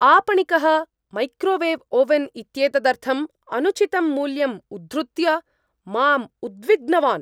आपणिकः microwave oven इत्येतदर्थम् अनुचितं मूल्यं उद्धृत्य मां उद्विग्नवान्।